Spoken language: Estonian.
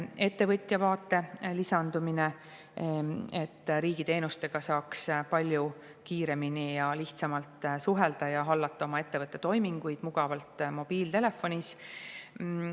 Ettevõtja vaate lisamine, et riigiga saaks palju kiiremini ja lihtsamalt suhelda ja saaks hallata oma ettevõtte toiminguid mugavalt mobiiltelefonis.